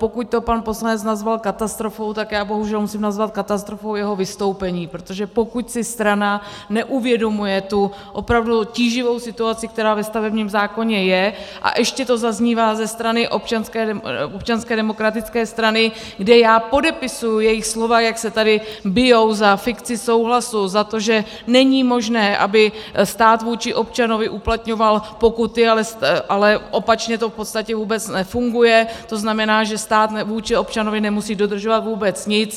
Pokud to pan poslanec nazval katastrofou, tak já bohužel musím nazvat katastrofou jeho vystoupení, protože pokud si strana neuvědomuje tu opravdu tíživou situaci, která ve stavebním zákoně je, a ještě to zaznívá ze strany Občanské demokratické strany, kde já podepisuji jejich slova, jak se tady bijí za fikci souhlasu, za to, že není možné, aby stát vůči občanovi uplatňoval pokuty, ale opačně to v podstatě vůbec nefunguje, to znamená, že stát vůči občanovi nemusí dodržovat vůbec nic.